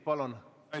Palun!